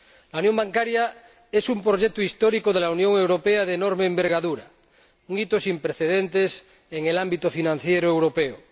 La unión bancaria es un proyecto histórico de la Unión Europea de enorme envergadura, un hito sin precedentes en el ámbito financiero europeo.